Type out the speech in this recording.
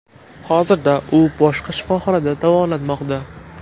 Hozirda u boshqa shifoxonada davolanmoqda.